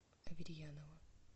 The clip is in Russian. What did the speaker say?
аверьянова